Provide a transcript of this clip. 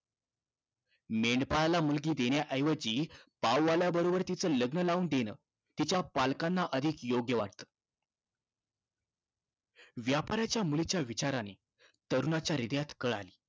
मेंढपाळाला मुलगी देण्याऐवजी पाववाल्याबरोबर तिचं लग्न लावून देणं तिच्या पालकांना अधिक योग्य वाटतं. व्यापाऱ्याच्या मुलीच्या विचारानी तरुणाच्या हृदयात कळ आली.